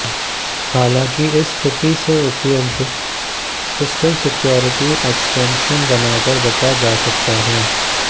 हालांकि इस स्थिति से उपयुक्त सिस्टम सिक्योरिटी एक्सटेंशन बनाकर बचा जा सकता है